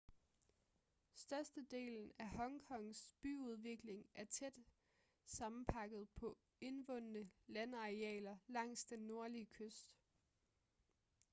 størstedelen af hong kongs byudvikling er tæt sammenpakket på indvundne landarealer langs den nordlige kyst